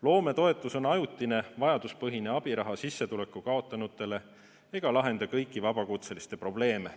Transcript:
Loometoetus on ajutine vajaduspõhine abiraha sissetuleku kaotanutele ega lahenda kõiki vabakutseliste probleeme.